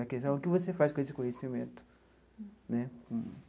A questão é o que você faz com esse conhecimento.